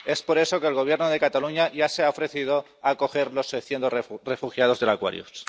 Por eso, el Gobierno de Cataluña ya se ha ofrecido a acoger a los 600 refugiados del Aquarius.